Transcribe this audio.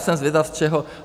Jsem zvědav, z čeho...